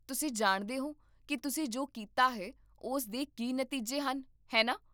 ਤੁਸੀਂ ਜਾਣਦੇ ਹੋ ਕਿ ਤੁਸੀਂ ਜੋ ਕੀਤਾ ਹੈ ਉਸ ਦੇ ਕੀ ਨਤੀਜੇ ਹਨ, ਹੈ ਨਾ?